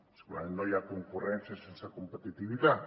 segurament no hi ha concurrència sense competitivitat